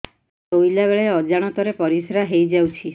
ଶୋଇଲା ବେଳେ ଅଜାଣତ ରେ ପରିସ୍ରା ହେଇଯାଉଛି